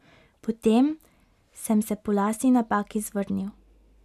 Potem sem se po lastni napaki zvrnil.